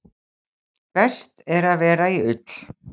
Best er að vera í ull.